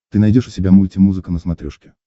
ты найдешь у себя мультимузыка на смотрешке